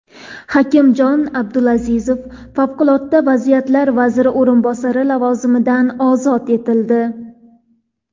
Hakimjon Abdulazizov Favqulodda vaziyatlar vaziri o‘rinbosari lavozimidan ozod etildi.